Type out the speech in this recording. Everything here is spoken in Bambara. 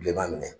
Bilenman minɛ